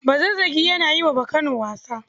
Bazazzagi yana yi wa Bakano wasa.